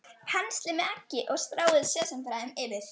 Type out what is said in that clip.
Penslið með eggi og stráið sesamfræjum yfir.